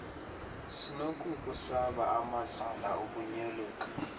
sinokukuhlaba amadlala ukunyoluka